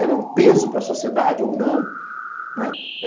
Ela é um peso para a sociedade ou não, né?